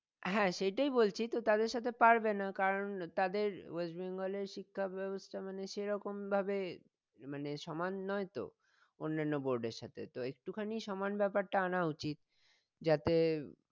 হ্যাঁ সেটাই বলছি তো তাদের সাথে পারবে না কারন তাদের ওয়েস্ট বেঙ্গলের শিক্ষা ব্যাবস্থা মানে সেরকম ্ভাবে মানে সমান নই তো অন্যান্য board এর সাথে তো একটুখানি সমান ব্যাপারটা আনা উচিত যাতে